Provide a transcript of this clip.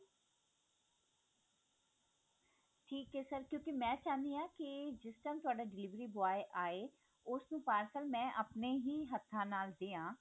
ਠੀਕ ਹੈ sir ਕਿਉਂਕਿ ਮੈਂ ਚਾਹੁਣੀ ਹਾਂ ਕੀ ਜਿਸ time ਤੁਹਾਡਾ delivery boy ਆਏ ਉਹਨੂੰ ਮੈਂ parcel ਆਪਣੇ ਹੀ ਹੱਥਾਂ ਨਾਲ ਦਿਆਂ